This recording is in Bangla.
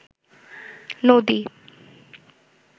নদী